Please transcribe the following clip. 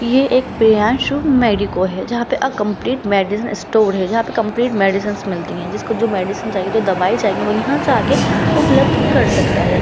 ये एक प्रियन्सू मेडिकों है जहां पे अ कम्पलीट मेडिसिन स्टोर है जहां पे कम्पलीट मेडिसिंस मिलती है जिसको जो मेडिसिन चाहिए जो दवाई चाहिए वो यहां से आके उपलब्ध कर सकता है।